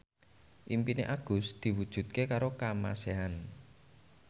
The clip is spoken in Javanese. impine Agus diwujudke karo Kamasean